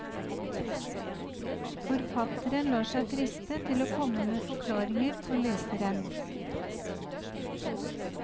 Forfatteren lar seg friste til å komme med forklaringer for leseren.